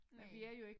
Næ